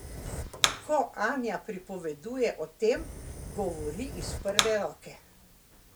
Ko Anja pripoveduje o tem, govori iz prve roke.